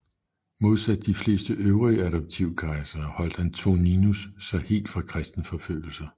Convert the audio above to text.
Modsat de fleste øvrige adoptivkejsere holdt Antoninus sig helt fra kristenforfølgelser